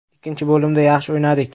Ikkinchi bo‘limda yaxshi o‘ynadik.